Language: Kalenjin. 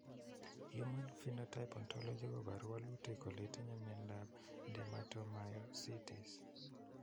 Human Phenotype Ontology koporu wolutik kole itinye Miondap Dermatomyositis.